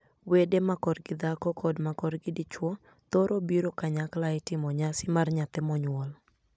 Wede ma korgi dhako kod ma korgi dichwo thoro biro kanyakla e timo nyasi mar nyathi monyuol.